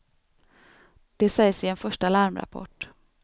Det sägs i en första larmrapport.